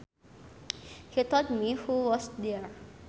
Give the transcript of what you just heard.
He told me who was there